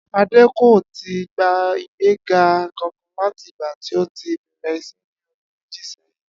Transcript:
Adé kò ì tíì gba ìgbéga kankan láti ìgbà tí ó ti bè̩rè̩ is̩é̩ ní o̩dún méjì sé̩yìn